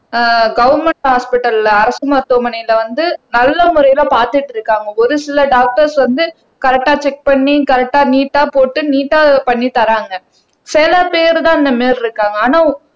ஆஹ் government ஹாஸ்பிடல்ல அரசு மருத்துவமனையில வந்து நல்ல முறையில பாத்துட்டு இருக்காங்க ஒரு சில டாக்டர்ஸ் வந்து கரெக்ட்டா செக் பண்ணி கரெக்ட்டா நீட்டா போட்டு நீட்டா பண்ணித்தராங்க சில பேர் தான் இந்த மாதிரி இருக்காங்க ஆனா